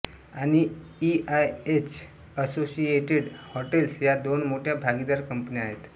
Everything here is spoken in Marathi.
आणि इआयएच असोशिएटेड हॉटेल्स या दोन मोठ्या भागीदार कंपन्या आहेत